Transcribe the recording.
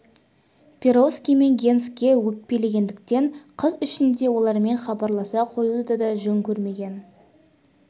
перовский мен генске өкпелегендіктен қыс ішінде олармен хабарласа қоюды да жөн көрмеген